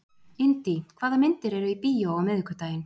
Indí, hvaða myndir eru í bíó á miðvikudaginn?